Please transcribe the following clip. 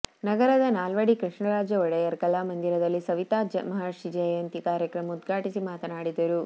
ನಗರದ ನಾಲ್ವಡಿ ಕೃಷ್ಣರಾಜ ಒಡೆಯರ್ ಕಲಾಮಂದಿರದಲ್ಲಿ ಸವಿತಾ ಮಹರ್ಷಿ ಜಯಂತಿ ಕಾರ್ಯಕ್ರಮ ಉದ್ಘಾಟಿಸಿ ಮಾತನಾಡಿದರು